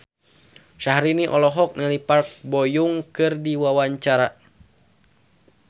Syahrini olohok ningali Park Bo Yung keur diwawancara